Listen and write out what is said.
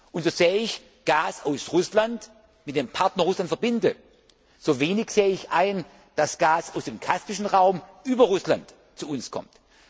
Raum. Und so sehr ich Gas aus Russland mit dem Partner Russland verbinde, so wenig sehe ich ein, dass Gas aus dem kaspischen Raum über Russland zu uns kommt.